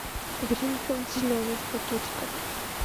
гринфилд зеленый в пакетиках